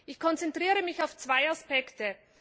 Ich konzentriere mich auf zwei Aspekte.